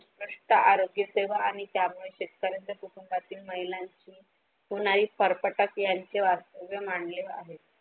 त्यांच्या आरोग्य तेव्हा आणि त्यामुळे शेतकऱ्यांना कुटुंबातील महिलांना त्याचा आहेत.